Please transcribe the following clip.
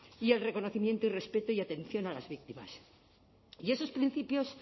y el reconocimiento y respeto y atención a las víctimas y esos principios